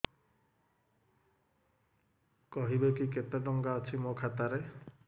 କହିବେକି କେତେ ଟଙ୍କା ଅଛି ମୋ ଖାତା ରେ